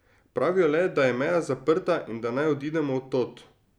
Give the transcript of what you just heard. Pravijo le, da je meja zaprta in da naj odidemo od tod.